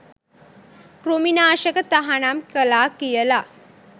කෘමි නාශක තහනම් කළා කියලා.